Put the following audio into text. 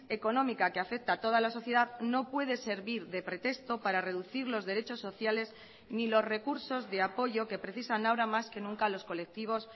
económica que afecta a toda la sociedad no puede servir de pretexto para reducir los derechos sociales ni los recursos de apoyo que precisan ahora más que nunca los colectivos